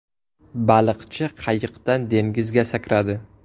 Baliqchi qayiqdan dengizga sakradi.